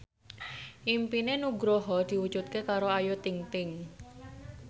impine Nugroho diwujudke karo Ayu Ting ting